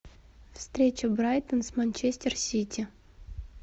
встреча брайтон с манчестер сити